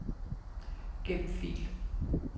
Gem fil.